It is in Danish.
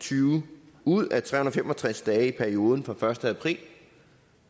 tyve ud af tre hundrede og fem og tres dage i perioden fra første april